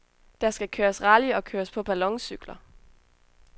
Der skal køres rally og køres på balloncykler.